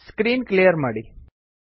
screen clear ಮಾಡಿ